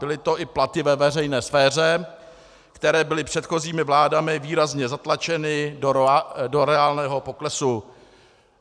Byly to i platy ve veřejné sféře, které byly předchozími vládami výrazně zatlačeny do reálného poklesu.